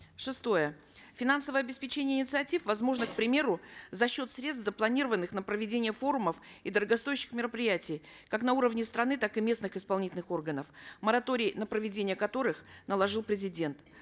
шестое финансовое обеспечение инициатив возможно к примеру за счет средств запланированных на проведение форумов и дорогостоящих мероприятий как на уровне страны так и местных исполнительных органов мораторий на проведение которых наложил президент